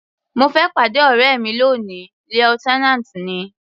Mo fẹ́ pàdé ọ̀rẹ́ mi lóni, lieutenant ni.